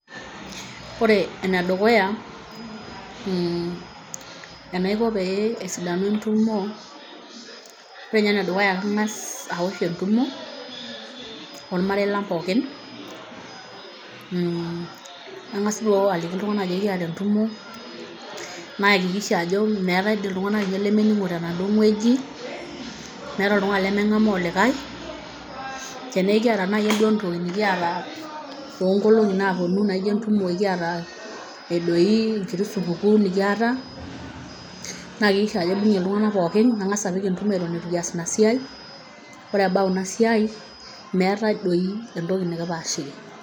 Ore ene dukuya mm enaiko pee esidanu entumo, ore nye ene dukuya kang'as awosh entumo ormarei lang'pookin mm, nang'as duo aliki iltung'anak ajo kiata entumo, naikikisha ajo meetai dii iltung'anak lemening'o tenaduo wueji, meeta oltung'ani lemenkamaa olikai, tene kiata nai entoki duo nekiata too nkolong'i naaponu naijo entumo kiata e doi enkiti supukuu nekiata, naikikisha ajo abung'ie iltung'anak pookin nang'asa apik entumo eton itu kias ina siai, ore ebau ina siai meetai doi entoki nekipaashiki.